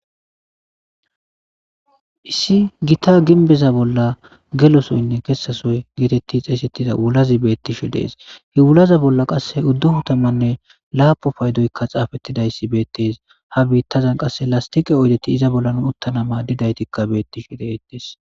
Issi gita ginbeza bolla gelosoynne kessasoy geetetti xeesettida wulazi beettishu dees hewulaza bolla qasse udduhu tamanne laapo paydoykka xaafettidayssi beettes ha biittazan qasse lastiqe oydeti iza bollan uttanama didaytikka beettishu deettees.